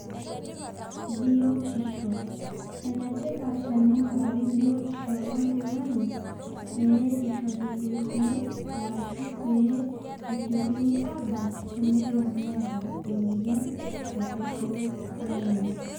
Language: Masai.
Biotisho. Enetipat tening'urari biotisho oltung'ani, pee ishori irkeek, arashu pe esiokini aabak, tenelo neeta emoyian tosesen lenye.